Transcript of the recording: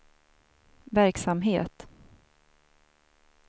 verksamhet